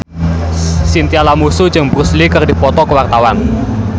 Chintya Lamusu jeung Bruce Lee keur dipoto ku wartawan